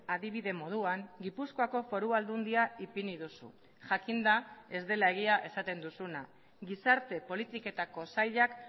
adibide moduan gipuzkoako foru aldundia ipini duzu jakinda ez dela egia esaten duzuna gizarte politiketako sailak